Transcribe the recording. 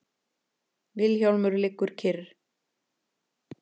Vilhjálmur liggur kyrr.